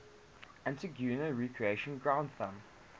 antigua recreation ground thumb